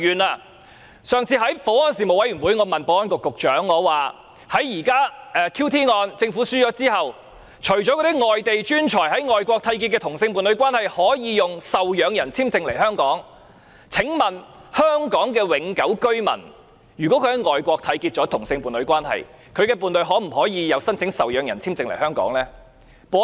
在上次的保安事務委員會會議上，我問保安局局長 ，QT 案政府敗訴後，除了外地專才已在外國締結同性伴侶關係的伴侶，可以以受養人簽證來香港外，香港永久居民在外國締結同性伴侶關係，他的伴侶可否申請受養人簽證來香港？